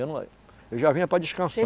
Eu não, eu já vinha para descansar